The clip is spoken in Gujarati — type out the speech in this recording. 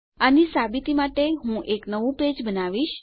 આની સાબિતી માટે હું એક નવું પેજ બનાવીશ